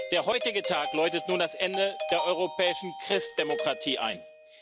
Der heutige Tag läutet nun das Ende der europäischen Christdemokratie ein.